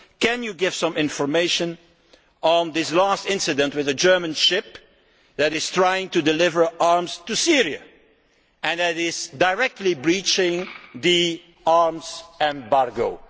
Can you give us some information on the recent incident with a German ship that is trying to deliver arms to Syria and that is directly breaching the arms